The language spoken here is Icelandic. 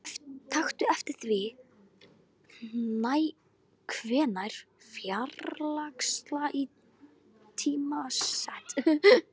Taktu eftir því hvenær færslan er tímasett.